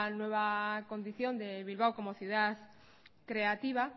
nueva condición de bilbao como ciudad creativa